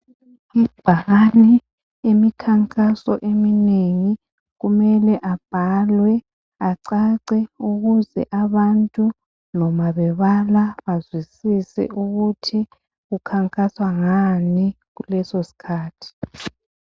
Amabhakane emikhankaso eminengi kumele abhalwe acace ukuze abantu nomabebala bazwisise ukuthi kukhankaswa ngani kuleso sikhathi.